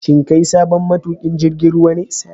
Shin kai sabon matukin jirgin ruwa ne?